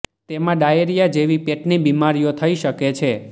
તેમાં ડાયેરિયા જેવી પેટની બીમારીઓ થઈ શકે છે